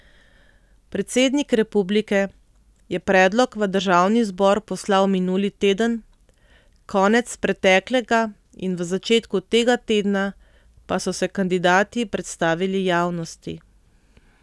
Predsednik republike je predlog v državni zbor poslal minuli teden, konec preteklega in v začetku tega tedna pa so se kandidati predstavili javnosti.